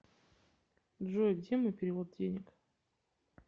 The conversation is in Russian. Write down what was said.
джой где мой перевод денег